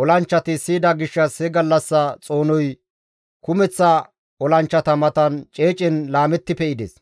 olanchchati siyida gishshas he gallassa xoonoy kumeththa olanchchata matan ceecen laametti pe7ides.